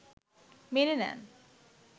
মেনে নেন